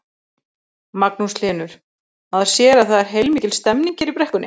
Magnús Hlynur: Maður sér að það er heilmikil stemning hér í brekkunni?